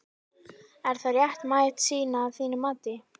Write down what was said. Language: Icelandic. Er það réttmæt sýn að þínu mati?